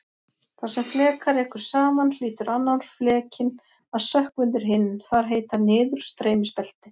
Þar sem fleka rekur saman hlýtur annar flekinn að sökkva undir hinn- þar heita niðurstreymisbelti.